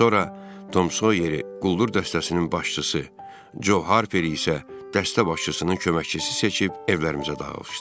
Sonra Tom Soyer quldur dəstəsinin başçısı, Joe Harperi isə dəstə başçısının köməkçisi seçib evlərimizə dağılışdıq.